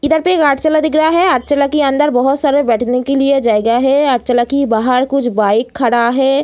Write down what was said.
इधर पे एक दिख रहा है के अंदर बहुत सारे बैठने के लिए जगह है के बाहर कुछ बाइक खड़ा है।